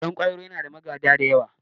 Ɗan kwairo yana da magada da yawa